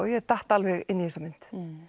ég datt alveg inn í þessa mynd